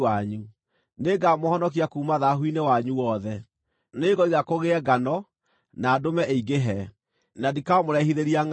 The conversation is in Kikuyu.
Nĩngamũhonokia kuuma thaahu-inĩ wanyu wothe. Nĩngoiga kũgĩe ngano, na ndũme ĩingĩhe, na ndikamũrehithĩria ngʼaragu.